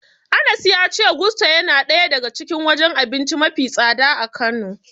Anas ya ce Gusto yana daya daga cikin wajen abinci mafi tsada a Kano.